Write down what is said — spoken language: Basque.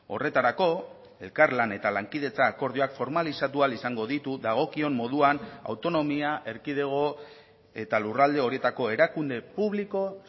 horretarako elkarlan eta lankidetza akordioak formalizatu ahal izango ditu dagokion moduan autonomia erkidego eta lurralde horietako erakunde publiko